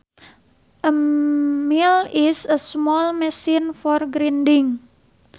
A mill is a small machine for grinding